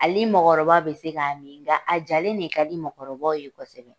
Ale mɔgɔkɔrɔba bɛ se k'a min nka a jalen de ka di mɔgɔkɔrɔbaw ye kosɛbɛ